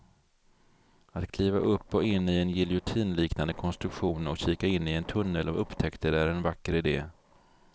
Att kliva upp och in i en giljotinliknande konstruktion och kika in i en tunnel av upptäckter är en vacker idé.